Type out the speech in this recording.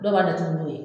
Dɔw b'a datugu n'o ye